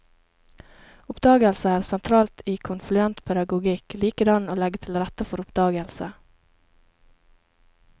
Oppdagelse er sentralt i konfluent pedagogikk, likedan å legge til rette for oppdagelse.